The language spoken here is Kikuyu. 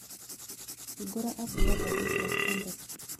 hĩngura app ya gathĩĩti ya standard